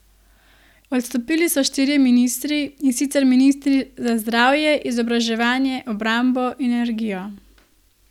Odstopili so štirje ministri, in sicer ministri za zdravje, izobraževanje, obrambo in energijo.